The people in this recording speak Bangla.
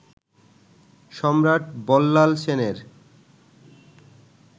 সম্রাট বল্লাল সেনের